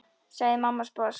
sagði mamma sposk.